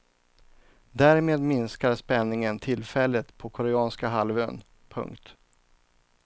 Därmed minskar spänningen tillfälligt på koreanska halvön. punkt